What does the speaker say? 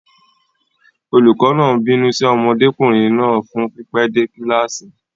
Olùkọ́ náà ń bínú sí ọmọdékùnrin náà fún pípẹ́ dé kíláàsì.